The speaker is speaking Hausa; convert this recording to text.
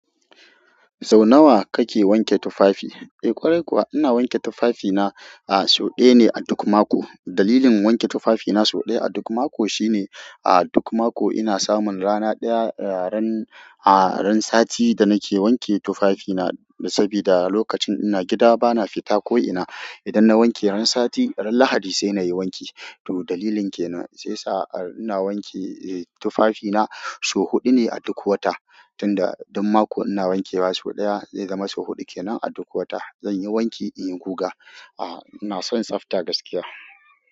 Sau nawa kake wanke tufafi? Eh ƙwarai kuwa ina wanke tufafina a sau ɗaya ne a duk mako. Dalilin wanke tufafina sau ɗaya a duk mako shine a duk mako ina samun rana ɗaya ran, a ran sati da nake wanke tufafina sabida lokacin ina gida bana fita ko'ina. Idan na wanke ran sati, ran Lahadi sai na yi wanki. Toh dalilin ke nan shi yasa ina wanke, eh tufafina sau huɗu ne a duk wata. Tunda duk mako ina wankewa sau ɗaya, zai zama sau huɗu kenan a duk wata. Zanyi wanki in yi guga. A'a ina son tsafta gaskiya.